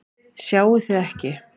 Sjáið þið ekki?